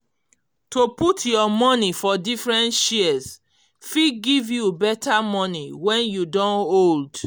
to put your money for different shares fit give you better money when you don old